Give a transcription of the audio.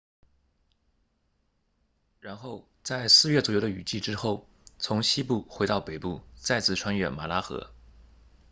然后在四月左右的雨季之后从西部回到北部再次穿越马拉河